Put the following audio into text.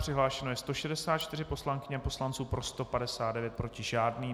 Přihlášeno je 164 poslankyň a poslanců, pro 159, proti žádný.